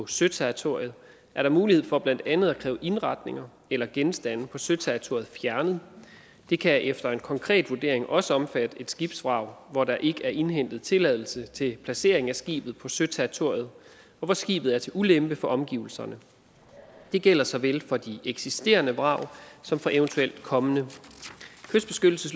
søterritoriet er der mulighed for blandt andet at kræve indretninger eller genstande på søterritoriet fjernet det kan efter en konkret vurdering også omfatte et skibsvrag hvor der ikke er indhentet tilladelse til placering af skibet på søterritoriet og hvor skibet er til ulempe for omgivelserne det gælder såvel for de eksisterende vrag som for eventuelt kommende